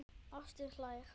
Ásdís hlær.